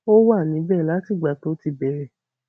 ó wà níbẹ láti ìgbà tó ti bẹrẹ